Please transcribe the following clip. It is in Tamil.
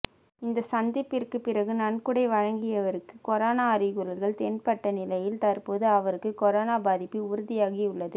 இந்த சந்திப்பிற்கு பிறகு நன்கொடை வழங்கியவருக்கு கொரோனா அறிகுறிகள் தென்பட்ட நிலையில் தற்போது அவருக்கு கொரோனா பாதிப்பு உறுதியாகி உள்ளது